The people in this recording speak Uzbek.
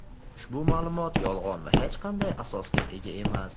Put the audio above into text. Ushbu ma’lumot yolg‘on va hech qanday asosga ega emas.